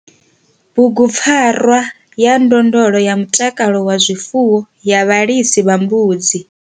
Bugupfarwa ya ndondolo ya mutakalo wa zwifuwo ya vhalisa vha mbudzi.